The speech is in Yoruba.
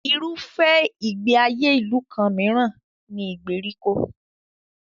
Irúfẹ́ ìgbé ayé ìlú kan mìíràn ni ìgbèríko.